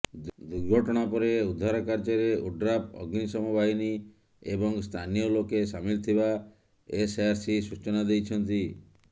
ଦୁର୍ଘଟଣା ପରେ ଉଦ୍ଧାର କାର୍ଯ୍ୟରେ ଓଡ୍ରାଫ୍ ଅଗ୍ନିଶମ ବାହିନୀ ଏବଂ ସ୍ଥାନୀୟଲୋକେ ସାମିଲ ଥିବା ଏସ୍ଆର୍ସି ସୂଚନା ଦେଇଛନ୍ତି